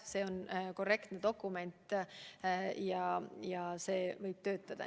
See on korrektne dokument ja see võib töötada.